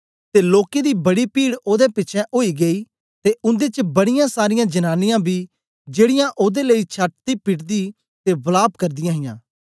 ते लोकें दी बड़ी पीड ओदे पिछें ओई गेई ते उन्दे च बड़ीयां सारीयां जनांनीयां बी जेड़ीयां ओदे लेई छाती पीटदी ते वलाप करदीयां हां